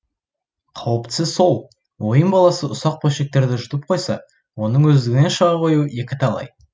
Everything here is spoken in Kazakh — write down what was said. қауіптісі сол ойын баласы ұсақ бөлшектерді жұтып қойса оның өздігінен шыға қоюы екіталай